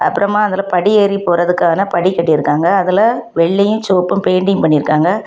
அப்புறமா அதுல படியேறி போறதுக்கான படி கட்டிருக்காங்க அதுல வெள்ளையும் செவப்பு பெயிண்டிங் பண்ணிருக்காங்க.